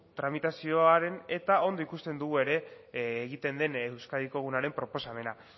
tramitazioaren eta ondo ikusten dugu ere egiten den euskadiko egunaren proposamena